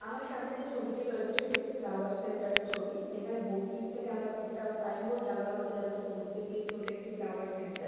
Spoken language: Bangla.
আমার সামনে যে ছবিটি রয়েছে সেটি একটি ফ্লাওয়ার সেন্টার -এর ছবিযেখানে বোর্ড -টিক থেকে আমরা একটা সাইন বোর্ড লাগানো আছে | যার থেকে বুঝতে পেরেছি ওটা একটা ফ্লাওয়ার সেন্টার ।